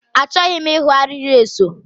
Achọghị m ịhụ arịrị eso.